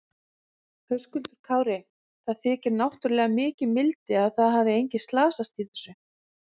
Höskuldur Kári: Það þykir náttúrulega mikið mildi að það hafi engin slasast í þessu?